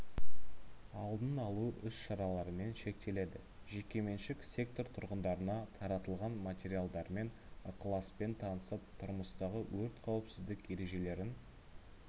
алдын алу іс-шараларымен шектеледі жекеменшік сектор тұрғындарына таратылған материалдармен ықыласпен танысып тұрмыстағы өрт қауіпсіздік ережелерін